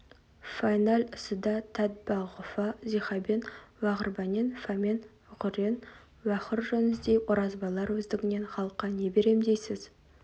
фәиннәл үсідә тәтбағұһа зиһабен уағұрбәнен фәмән ғұррен уәғұр жөн сіздей оразбайлар өздігіңнен халыққа не берем дейсіз